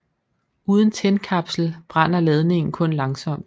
Uden tændkapsel brænder ladningen kun langsomt